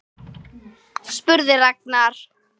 spurði Ragnar.